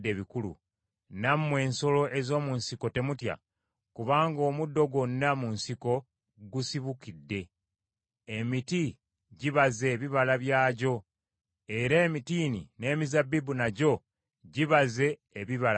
Nammwe ensolo ez’omu nsiko temutya; kubanga omuddo gwonna mu nsiko gusibukidde. Emiti gibaze ebibala byagyo, era emitiini n’emizabbibu nagyo gibaze ebibala bingi.